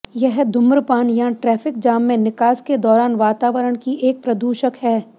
यह धूम्रपान या ट्रैफिक जाम में निकास के दौरान वातावरण की एक प्रदूषक है